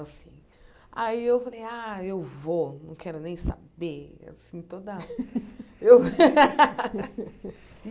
Aí eu falei, ah, eu vou, não quero nem saber. Assim toda eu